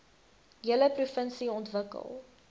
hele provinsie ontwikkel